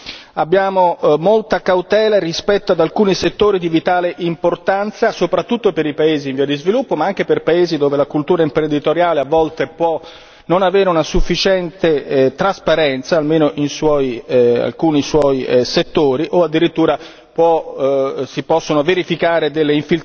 Per questa ragione, come liberal democratici, abbiamo molta cautela rispetto ad alcuni settori di vitale importanza, soprattutto per i paesi in via di sviluppo, ma anche per i paesi in cui la cultura imprenditoriale a volte più non avere una sufficiente trasparenza, o almeno alcuni suoi settori, o addirittura in cui